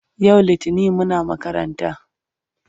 yau littani Muna makaranta